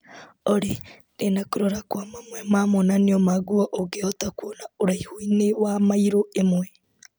Olĩ ndĩna kũrora kwa mamwe ma monanio ma nguo ũngĩhota kuona ũraihu-inĩ wa mairo ĩmwe .